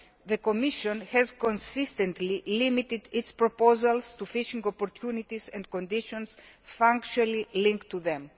the Commission has consistently limited its proposals to fishing opportunities and conditions functionally linked to them.